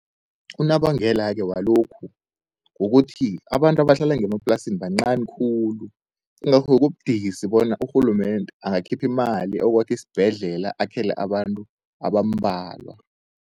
Unobangela-ke walokhu kukuthi abantu abahlala ngemaplasini bancani khulu. Ingakho-ke kubudisi bona urhulumende angakhipha imali, ayokwakha isibhedlela akhele abantu abambalwa.